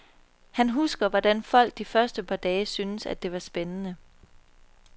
Han husker, hvordan folk de første par dage syntes, at det var spændende.